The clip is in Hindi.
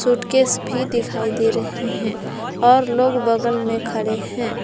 सूटकेस भी दिखाई दे रहे हैं और लोग बगल में खड़े हैं।